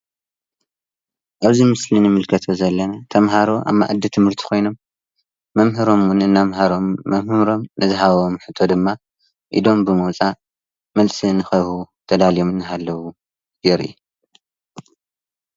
ኣብዚ ምስሊ ንምልከቶ ዘለና ተምሃሮ ኣብ መኣዲ ትምህርቲ ኮይኖም መምህሮምን እናምሀሮምን መምህሮም ንዝሃቦም ሕቶ ድማ ኢዶም ብምውፃእ መልሲ ንክህቡ ተዳልዮም እናሃለዉ የርኢ ፡፡